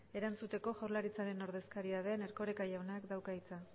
erantzuteko jaurlaritzaren ordezkari den erkoreka jaunak dauka hitza